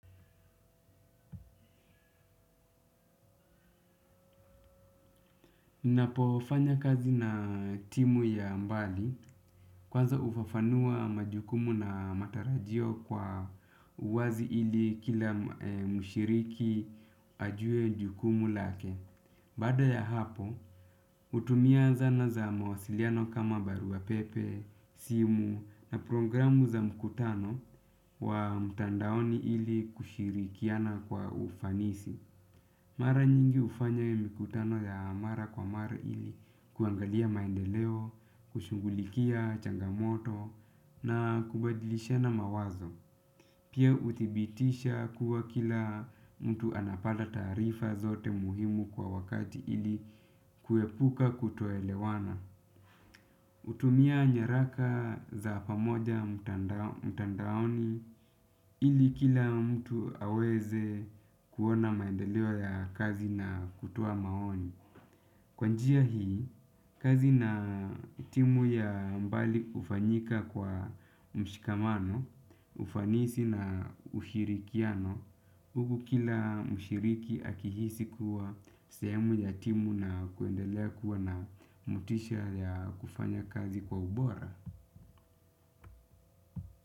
Napofanya kazi na timu ya mbali kwanza hufafanua majukumu na matarajio kwa uwazi ili kila mshiriki ajue jukumu lake. Baada ya hapo, hutumia zana za mawasiliano kama barua pepe, simu na programu za mkutano wa mtandaoni ili kushirikiana kwa ufanisi. Mara nyingi hufanya mikutano ya mara kwa mara ili kuangalia maendeleo, kushughulikia changamoto na kubadilishana mawazo. Pia huthibitisha kuwa kila mtu anapata taarifa zote muhimu kwa wakati ili kuepuka kutoelewana. Hutumia nyaraka za pamoja mtandaoni ili kila mtu aweze kuona maendeleo ya kazi na kutoa maoni. Kwa njia hii, kazi na timu ya mbali hufanyika kwa mshikamano, ufanisi na ushirikiano, huku kila mshiriki akihisi kuwa sehemu ya timu na kuendelea kuwa na motisha ya kufanya kazi kwa ubora.